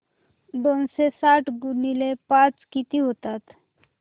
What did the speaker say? दोनशे साठ गुणिले पाच किती होतात